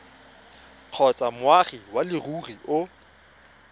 kgotsa moagi wa leruri o